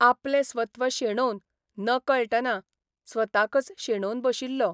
आपलें स्वत्व शेणोवन नकळटना स्वताकच शेणोवन बशिल्लो.